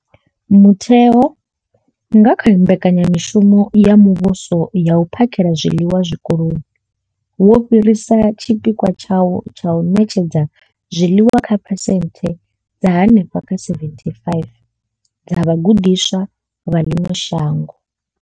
Mutheo, nga kha Mbekanya mushumo ya Muvhuso ya U phakhela zwiḽiwa Zwikoloni, wo fhirisa tshipikwa tshawo tsha u ṋetshedza zwiḽiwa kha phesenthe dza henefha kha 75 dza vhagudiswa vha ḽino shango.